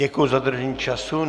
Děkuji za dodržení času.